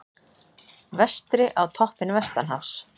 Vestri á toppinn vestanhafs